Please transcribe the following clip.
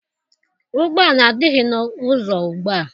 Ụgbọala adịghị n'ụzọ ugbua.